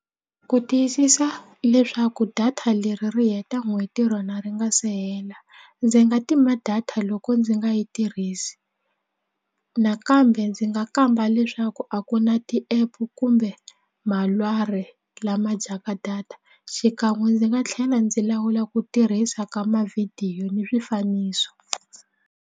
Ku tiyisisa leswaku data leri ri heta n'hweti rona ri nga se hela ndzi nga tima data loko ndzi nga yi tirhisi nakambe ndzi nga kamba leswaku a ku na ti-app kumbe malwari lama dyaka data xikan'we ndzi nga tlhela ndzi lawula ku tirhisa ka mavhidiyo ni swifaniso.